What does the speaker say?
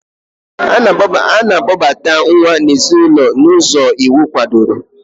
A na-akpobata nwa n'ezinụlọ n'ụzọ iwu kwadoro.